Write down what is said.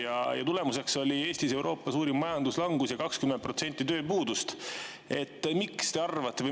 Selle tulemuseks oli Eestis Euroopa suurim majanduslangus ja tööpuudus 20%.